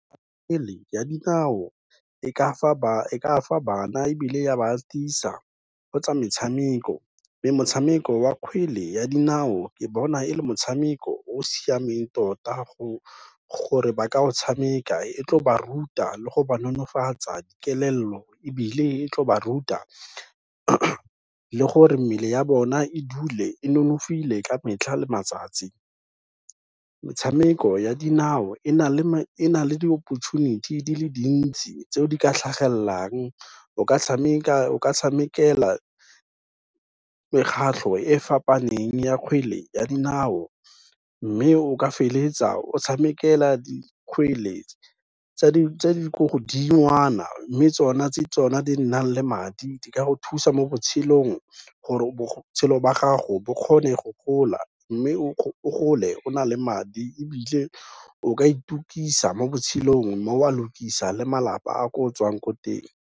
Kgwele ya dinao e ka fa bana ebile ya ba tiisa go tsa metshameko, mme motshameko wa kgwele ya dinao ke bona e le motshameko o o siameng tota gore ba ka o tshameka e tlo ba ruta le go ba nonofatsa kelello ebile e tlo ba ruta le gore mmele ya bona e dule e nonofile ka metlha le matsatsi. Metshameko ya dinao e na le di-opportunity di le dintsi tseo di ka tlhagelelang, o ka tshamekela mekgatlho e fapaneng ya kgwele ya dinao mme o ka feleletsa o tshamekela dikgwele tse di ko godingwana mme tsona tse tsona di nnang le madi di ka go thusa mo botshelong gore botshelo ba gago bo kgone go gola, mme o gole o na le madi ebile o ka itukisa mo botshelong mme oa lokisa le malapa a ko o tswang ko teng.